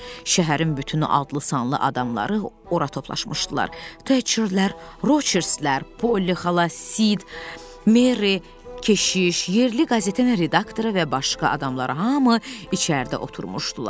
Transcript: Şəhərin bütün adlı-sanlı adamları ora toplaşmışdılar: Təçirlər, Roçerslər, Polli xala, Sid, Merri, keşiş, yerli qəzetənin redaktoru və başqa adamlar, hamı içəridə oturmuşdular.